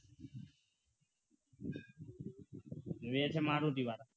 વેચે મારુતિ વાળા